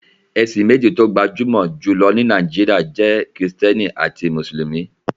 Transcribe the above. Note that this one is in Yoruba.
Ẹ̀sìn méjì tó gbajúmọ̀ jù lọ ní Nàìjíríà jẹ́ Kristẹni àti Mùsùlùmí.